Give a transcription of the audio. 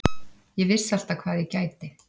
Ég vissi alltaf hvað ég gæti.